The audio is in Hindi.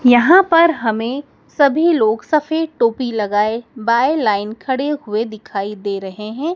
यहां पर हमें सभी लोग सफेद टोपी लगाए बाय लाइन खड़े हुए दिखाई दे रहे हैं।